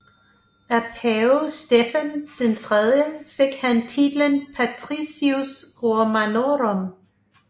Af pave Stefan III fik han titlen Patricius romanorum